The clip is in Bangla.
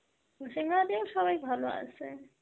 মুর্শিদাবাদেও সবাই ভালো আসে.